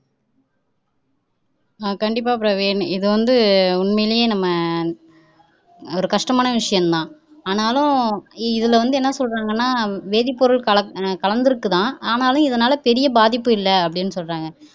உம் கண்டிப்பா பிரவீன் இதை வந்து உண்மைலேயே நம்ம ஒரு கஷ்டமான விசயம்தான் ஆனாலும் இதுல வந்து என்ன சொல்றாங்கன்னா வேதிப்பொருள் கலந்துருக்குதாம் ஆனாலும் இதனால பெரிய பாதிப்பு இல்லைஅப்படின்னு சொல்றாங்க